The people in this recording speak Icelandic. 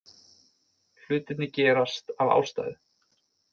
Hlutirnir gerast af ástæðu.